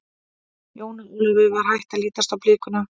Jóni Ólafi var hætt að lítast á blikuna.